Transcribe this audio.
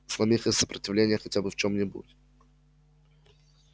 сломив их сопротивление хотя бы в чём-нибудь